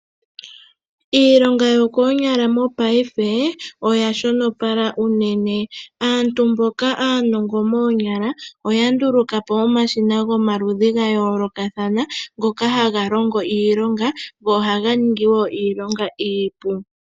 Iilonga yokoonyala mopaife oya shonopala unene. Aantu mboka aanongo moonyala oya nduluka po omashina gomaludhi ga yoololathana ngoka haga longo iilonga, go ohaga ningi wo iilonga iipu.